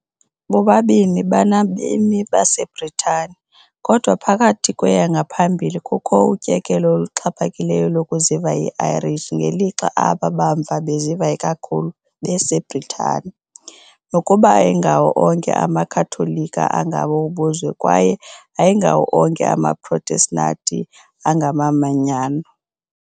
Bobabini banabemi baseBhritane, kodwa phakathi kweyangaphambili kukho utyekelo oluxhaphakileyo lokuziva iIrish ngelixa aba bamva beziva ikakhulu baseBritane, nokuba ayingawo onke amaKhatholika angabo ubuzwe kwaye ayingawo onke amaProtestanti angamamanyano.